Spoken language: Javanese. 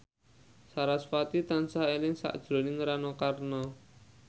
sarasvati tansah eling sakjroning Rano Karno